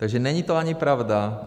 Takže není to ani pravda.